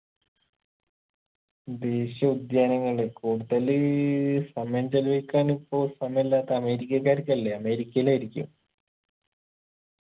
ദേശീയ ഉദ്യാനങ്ങൾടെ കൂടുതല് സമയം ചിലവഴിക്കാനിപ്പോ സമയില്ലാത്തെ അമേരിക്കക്കാർക്കല്ലേ അമേരിക്കയിലായിരിക്കും